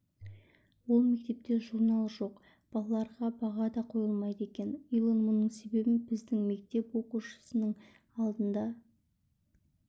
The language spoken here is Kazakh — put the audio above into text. ол мектепте журнал жоқ балаларға баға да қойылмайды екен илон мұның себебін біздің мектеп оқушының алдына